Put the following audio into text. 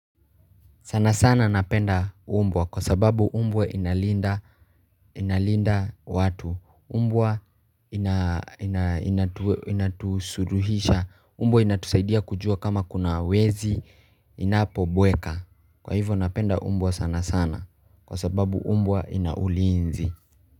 Sana sana napenda umbwa kwa sababu umbwa inalinda watu umbwa inatusuduhisha umbwa inatusaidia kujua kama kuna wezi inapo bweka Kwa hivyo napenda umbwa sana sana kwa sababu umbwa inaulinzi.